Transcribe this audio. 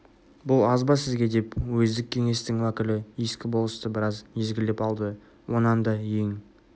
бұл аз ба сізге деп уездік кеңестің уәкілі ескі болысты біраз езгілеп алды онан да ең